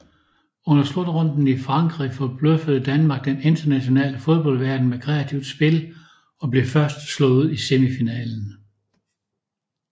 Under slutrunden i Frankrig forbløffede Danmark den internationale fodboldverden med kreativt spil og blev først slået ud i semifinalen